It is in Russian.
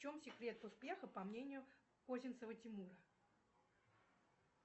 в чем секрет успеха по мнению козинцева тимура